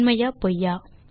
உண்மையா பொய்யா